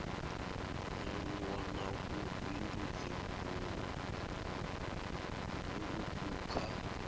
nyaluwo na vhubindudzi vhuuku kha